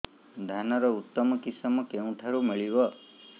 ଧାନର ଉତ୍ତମ କିଶମ କେଉଁଠାରୁ ମିଳିବ